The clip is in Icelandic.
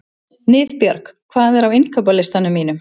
Niðbjörg, hvað er á innkaupalistanum mínum?